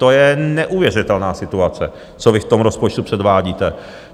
To je neuvěřitelná situace, co vy v tom rozpočtu předvádíte.